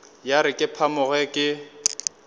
ya re ke phamoge ke